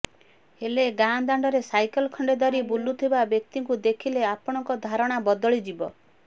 ହେଲେ ଗାଁ ଦାଣ୍ଡରେ ସାଇକେଲ ଖଣ୍ଡେ ଧରି ବୁଲୁଥିବା ବ୍ୟକ୍ତିଙ୍କୁ ଦେଖିଲେ ଆପଣଙ୍କ ଧାରଣା ବଦଳିଯିବ